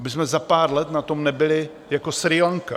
Abychom za pár let na tom nebyli jako Srí Lanka.